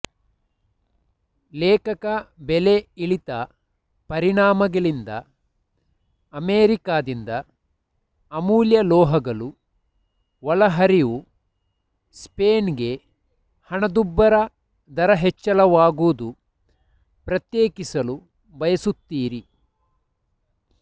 ಲೇಖಕ ಬೆಲೆ ಇಳಿತ ಪರಿಣಾಮಗಳಿಂದ ಅಮೆರಿಕದಿಂದ ಅಮೂಲ್ಯ ಲೋಹಗಳು ಒಳಹರಿವು ಸ್ಪೇನ್ ಗೆ ಹಣದುಬ್ಬರ ದರ ಹೆಚ್ಚಳವಾಗುವುದು ಪ್ರತ್ಯೇಕಿಸಲು ಬಯಸುತ್ತೀರಿ